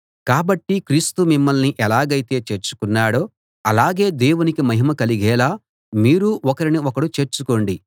కాబట్టి క్రీస్తు మిమ్మల్ని ఎలాగైతే చేర్చుకున్నాడో అలాగే దేవునికి మహిమ కలిగేలా మీరు ఒకరిని ఒకడు చేర్చుకోండి